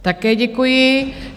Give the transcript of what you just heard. Také děkuji.